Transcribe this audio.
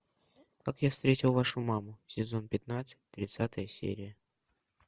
как я встретил вашу маму сезон пятнадцать тридцатая серия